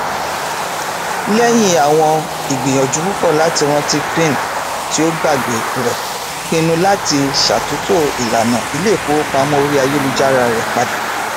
lẹyìn àwọn ìgbìyànjú púpọ láti rántí pin tí ó gbàgbé rẹ pinnu láti ṣàtúntò ìlànà iléifowopamọ orí ayélujára rẹ padà